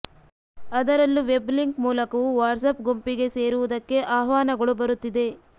ಅದರಲ್ಲೂ web link ಮೂಲಕವೂ WhatsApp ಗುಂಪಿಗೆ ಸೇರುವುದಕ್ಕೆ ಆಹ್ವಾನಗಳು ಬರುತ್ತಿದೆ